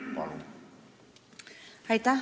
Palun!